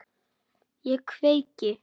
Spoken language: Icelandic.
Ég kveiki.